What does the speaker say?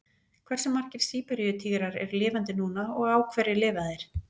Hversu margir Síberíu-tígrar eru lifandi núna og á hverju lifa þeir?